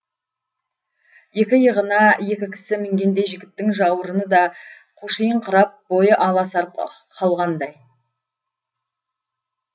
екі иығына екі кісі мінгендей жігіттің жауырыны да қушиыңқырап бойы аласарып қалғандай